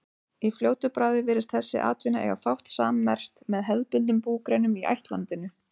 Í fljótu bragði virðist þessi atvinna eiga fátt sammerkt með hefðbundnum búgreinum í ættlandinu.